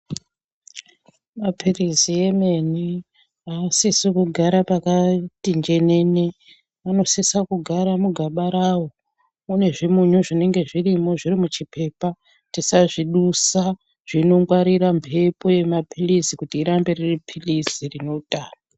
Maphirizi emene aasisi kugara pakati njenene, anosisa kugara mugaba rawo mune zvimunyu zvinenge zvirimo zviri muchipepa tisazvidusa zvinongwarira mbepo yemaphilizi kuti rirambe rieiphilizi rine utano.